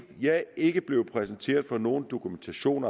jeg ikke er blevet præsenteret for nogen dokumentation